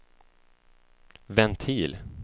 ventil